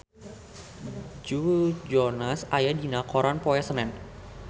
Joe Jonas aya dina koran poe Senen